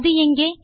அது எங்கே